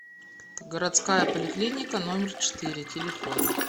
городская поликлиника номер четыре телефон